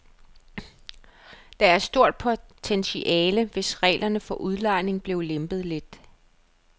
Der er et stort potentiale, hvis reglerne for udlejning blev lempet lidt.